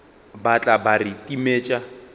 ba tla ba re timet